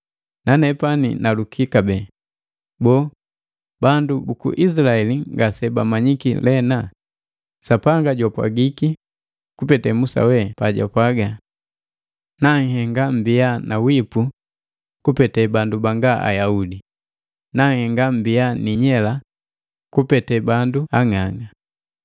Nanepani naluki kabee, boo, bandu buku Izilaeli ngase bamanyiki lena? Sapanga jwapwagiki kupete Musa we jupwaga “Nanhenga mmbia na wipu kupete bandu banga Ayaudi, nanhenga mmbia ni inyela kwa kupete bandu ang'ang'a.”